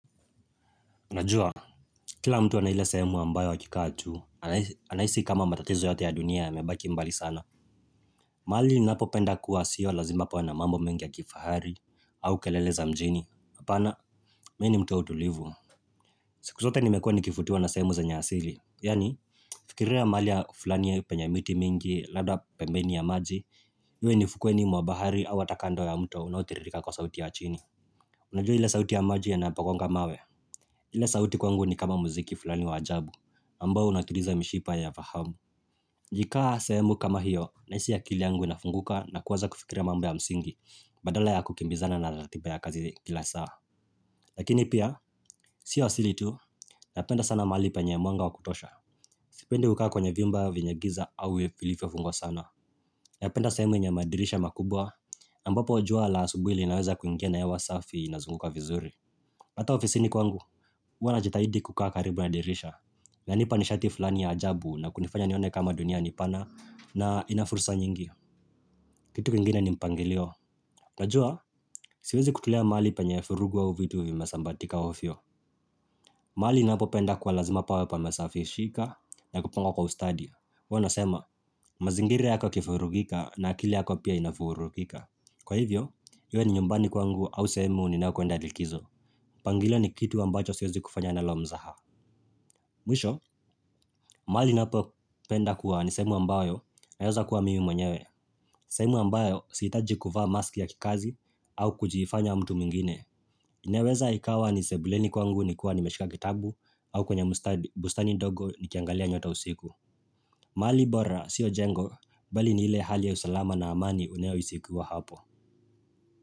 Najua, kila mtu ana ile sehemu ambayo akikaa tu, anahisi kama matatizo yote ya dunia yamebaki mbali sana. Mahali ninapopenda kuwa sio lazima pawe na mambo mengi ya kifahari au kelele za mjini. Hapana, mi ni mtu wa utulivu. Siku zote nimekuwa nikivutiwa na sehemu zenye asili. Yaani, fikiria mahali ya fulani ya penye miti mingi labda pembeni ya maji, iwe ni ufukweni mwa bahari au hata kando ya mto unaotiririka kwa sauti ya chini. Unajua ile sauti ya maji yanapagonga mawe? Ile sauti kwangu ni kama muziki fulani wa ajabu, ambao unatuliza mishipa ya fahamu. Nikikaa sehemu kama hiyo, nahisi akili yangu inafunguka na kuanza kufikira mambo ya msingi, badala ya kukimbizana na ratiba ya kazi kila saa. Lakini pia, si asili tu, napenda sana mahali penye mwanga wa kutosha. Sipendi kukaa kwenye vyumba vyenye giza au vilifvyofungwa sana. Napenda sehemu yenye madirisha makubwa, ambapo jua la asubuhi linaweza kuingia na hewa safi inazunguka vizuri. Hata ofisini kwangu, huwa najitahidi kukaa karibu na dirisha inanipa nishati fulani ya ajabu na kunifanya nione kama dunia ni pana na ina fursa nyingi vitu vingine ni mpangilio. Unajua, siwezi kutulia mahali penye vurugu au vitu vimesambaratika wafio mahali ninapopenda kwa lazima pawe pamesafishika na kupangwa kwa ustadi huwa nasema, mazingira yako kifurugika na akili yako pia inavurugika Kwa hivyo, iwe ni nyumbani kwangu au sehemu ninayokuenda likizo mlangilio ni kitu ambacho siwezi kufanya nalo mzaha Mwisho, mahali ninapo penda kuwa ni sehemu ambayo naweza kuwa mimi mwenyewe sehemu ambayo sihitaji kuvaa maski ya kikazi au kujifanya mtu mwingine inaweza ikawa ni sebuleni kwangu nikiwa nimeshika kitabu au kwenye bustani dogo nikiangalia nyota usiku mahali bora, siyo jengo Bali ni ile hali ya usalama na amani unaohisi ukiwa hapo.